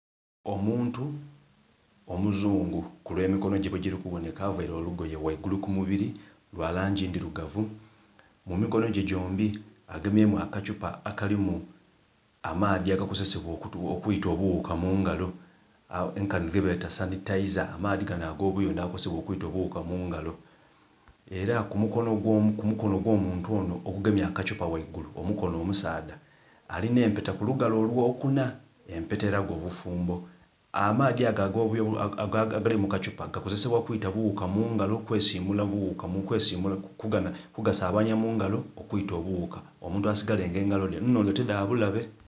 Omuntu omuzungu ku lwe mikono ghe bwe gili kubonheka avaire olugoye ghaigulu ku mubiri lwa langi ndhirugavu, mu mikono gyombi agemyemu akathupa akalimu amaadhi agakozesebwa okwila obughuka mungalo nkanhi ge beta sanitaiza amaadhi ganho agobuyondho aga kozesebwa okwita obughuka mungalo era ku mukono gwo muntu onho ogugemye akathupa ghaigulu omukono omusaadha, alina empeta ku lugalo olwo kuna empeta elaga obufumbo. Amaadhi ago agali mukathupa gakozesebwa kwita bughuka mungalo kugasabanhya mungalo okwita obughuka omuntu asigale nga engalo dhe nhondho tidha bulabe.